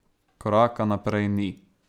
Koraka naprej ni.